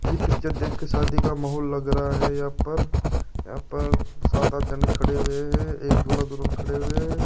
ये पिक्चर देखकर शादी का माहौल लग रहा है यहां पर यहां पर सात आठ जाने खड़े हुए है एक दूल्हा-दुल्हन खड़े हुए है।